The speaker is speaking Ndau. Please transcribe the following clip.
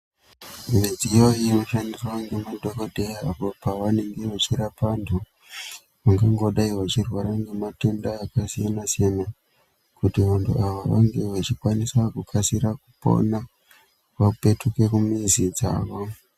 Midziyo inoshandiswa ngemadhokodheya apo pevanenge vechirapa vantu vangangodai vachirwara ngematenda akasiyana-siyana, kuti vantu ava vange vachikwanisa kukasira kupona, vapetuke kumizi dzavo.